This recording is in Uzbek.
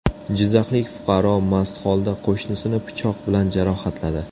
Jizzaxlik fuqaro mast holda qo‘shnisini pichoq bilan jarohatladi.